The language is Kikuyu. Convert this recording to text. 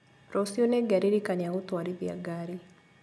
Rũciũ nĩngeririkania gũtwarithia ngari